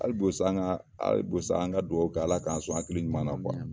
Hali bi sa an ka , hali bi sa an ka dugawu kɛ ala k'an sɔn hakili ɲuman na